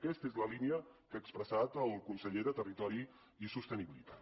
aquesta és la línia que ha expressat el conseller de territori i sostenibilitat